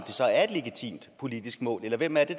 det så er et legitimt politisk mål eller hvem er det